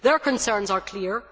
Their concerns are clear.